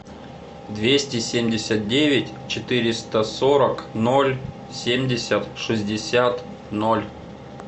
двести семьдесят девять четыреста сорок ноль семьдесят шестьдесят ноль